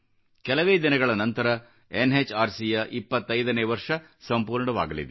ಕೆಲವೇ ದಿನಗಳ ನಂತರ ಎನ್ಎಚ್ಆರ್ಸಿ ಯ 25ನೇ ವರ್ಷ ಸಂಪೂರ್ಣವಾಗಲಿದೆ